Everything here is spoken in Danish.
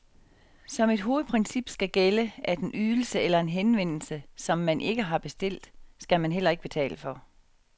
Som et hovedprincip skal gælde, at en ydelse eller en henvendelse, som man ikke har bestilt, skal man heller ikke betale for.